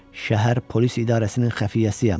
Şəhər polis idarəsinin xəfiyyəsiyəm.